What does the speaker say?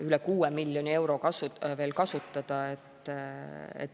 Üle 6 miljoni euro on veel kasutada.